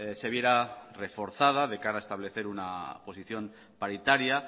se viera reforzada de cara a establecer una posición paritaria